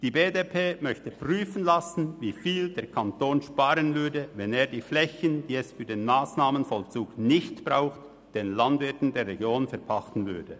Die BDP möchte prüfen lassen, wie viel der Kanton sparen würde, wenn er die Flächen, die es für den Massnahmenvollzug nicht braucht, den Landwirten der Region verpachten würde.